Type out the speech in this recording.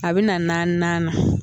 A bɛ na naaninan na